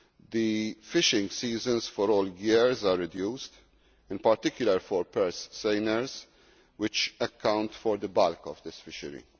The fishing seasons for all years are reduced, in particular, for purse seiners, which account for the bulk of this fishery.